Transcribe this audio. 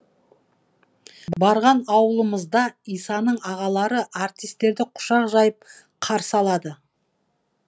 барған ауылымызда исаның ағалары артистерді құшақ жайып қарсы алады